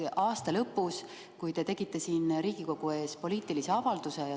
Aasta lõpus te tegite siin Riigikogu ees poliitilise avalduse.